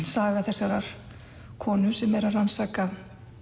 saga þessarar konu sem er að rannsaka